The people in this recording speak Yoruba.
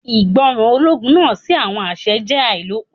Ìgbọràn ológun náà sí àwọn àṣẹ jẹ́ àìlópin.